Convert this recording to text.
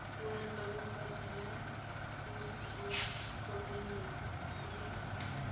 molekane kgotsa ya motlhokomelwa e